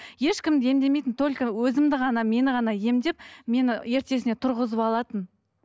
ешкімді емдемейтін только өзімді ғана мені ғана емдеп мені ертесіне тұрғызып алатын